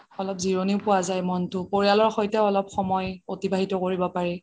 অলপ জিৰণিও পোৱা যাই মনটো পৰিয়ালৰ সৈতেও অলপ সময় এতিবাহিত কৰিব পাৰি